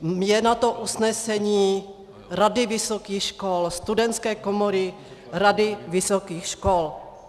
Je na to usnesení Rady vysokých škol, Studentské komory Rady vysokých škol.